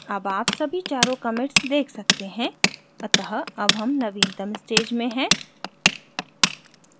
अब आप सभी चारों commits देख सकते हैं अतः अब हम नवीनतम stage में हैं